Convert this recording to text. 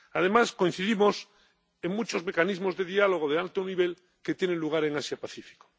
Además, coincidimos en muchos mecanismos de diálogo de alto nivel que tienen lugar en Asia Pacífico.